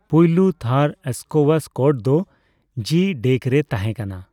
ᱯᱳᱭᱞᱳ ᱛᱷᱟᱹᱨ ᱥᱠᱳᱣᱟᱥ ᱠᱳᱨᱴ ᱫᱚ ᱡᱤᱼᱰᱮᱠ ᱨᱮ ᱛᱟᱦᱮᱸᱠᱟᱱᱟ ᱾